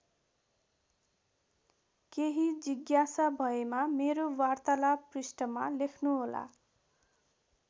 केही जिज्ञासा भएमा मेरो वार्तालाप पृष्ठमा लेख्नुहोला।